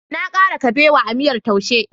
Na kara kabewa a miyar Taushe..